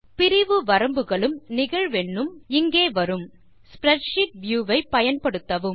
பிரிவு வரம்புகள் உம் நிகழ்வெண்ணும் இங்கே வரும் ஸ்ப்ரெட்ஷீட் வியூ ஐ பயன்படுத்தவும்